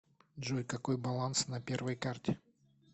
джой какой баланс на первой карте